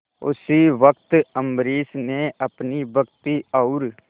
उसी वक्त अम्बरीश ने अपनी भक्ति और